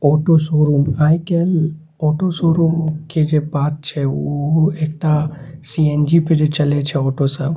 Auto showroom आय काएल auto showroom के जे बात छै उ एकटा सी.एन.जी. पे जे चले छै ऑटो सब --